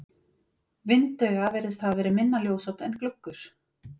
Vindauga virðist hafa verið minna ljósop en gluggur.